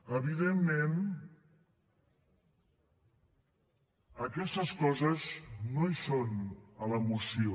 evidentment aquestes coses no hi són a la moció